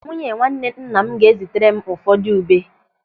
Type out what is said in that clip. Nwunye nwanne nna m ga-ézì tere m ụfọdụ ube.